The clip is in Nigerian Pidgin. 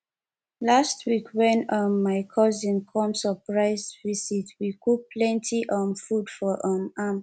last week wen um my cousin come surprise visit we cook plenty um food for um am